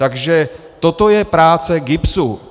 Takže toto je práce GIBSu.